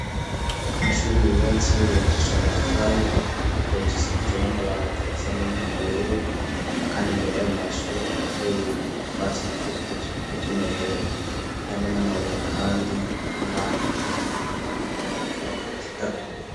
Amashuri yuwatse yibashishwe matafari hecas akajiwe n'amabati asa numubururu, kandi imbere yao amashuri harateye itwatsi dukejw kutumerera harimwo n'amabuye, kandi atuma isi imeranerozitaza irasitagurika.